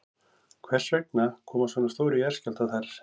Hvers vegna koma svona stórir jarðskjálftar þar?